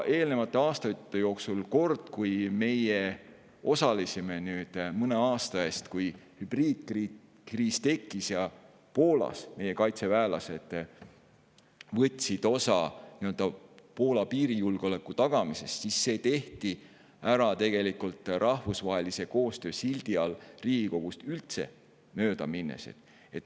Eelnevate aastate jooksul on olnud üks selline kord – see oli mõne aasta eest, kui tekkis hübriidkriis ja meie kaitseväelased võtsid osa Poola piirijulgeoleku tagamisest –, tehti ära rahvusvahelise koostöö sildi all ja Riigikogust üldse mööda minnes.